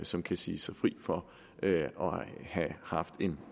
som kan sige sig fri for at have haft en